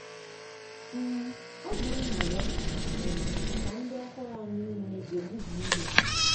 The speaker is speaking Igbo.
um ọgụ nna ya um ka ndị ọhụrụ anyị niile egbubi ihe.